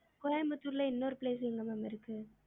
கோயம்புத்தூர்ல இன்னொரு place எங்க ma'am இருக்கு